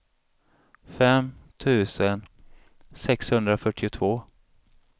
fem tusen sexhundrafyrtiotvå